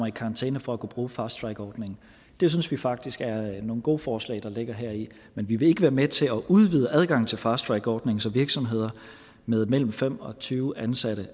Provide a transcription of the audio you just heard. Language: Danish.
i karantæne for at kunne bruge fast track ordningen det synes vi faktisk er nogle gode forslag der ligger heri men vi vil ikke være med til at udvide adgangen til fast track ordningen så virksomheder med mellem fem og tyve ansatte